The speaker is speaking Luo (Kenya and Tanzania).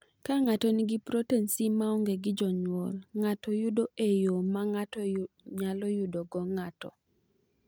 Ka ng’ato nigi protin C ma onge gi jonyuol, ng’ato yudo e yo ma ng’ato nyalo yudogo ng’ato.